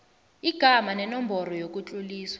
igama nenomboro yokutloliswa